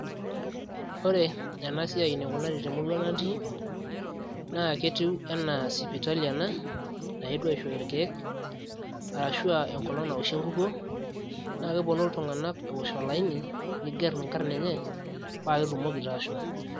ore ena siai enikunari temurua natii naa ketiu enaa sipitali ena naetuo aishooyo irkeek arashu aa enkolong naoshi enkukuo naa keponu iltung'anak eosh olaini nigerr inkarn enye paa ketumoki taa aashom.